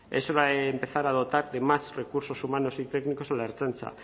es hora de empezar a dotar de más recursos humanos y técnicos a la ertzaintza